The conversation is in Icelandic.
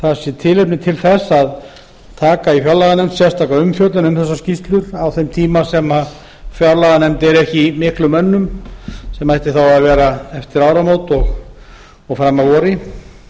það sé tilefni til þess að taka í fjárlaganefnd sérstaka umfjöllun um þessa skýrslu á þeim tíma sem fjárlaganefnd er ekki í miklum önnum sem ætti þá að vera eftir áramót og fram að vori